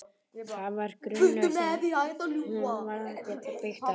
Það var grunnur sem hún varð að geta byggt á.